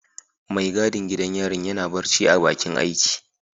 Mai gadin gidan yarin yana barci a bakin aiki.